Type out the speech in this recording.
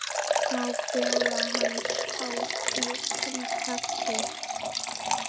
Má bjóða hans hátign kaffi?